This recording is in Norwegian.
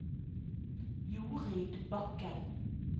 Jorid Bakken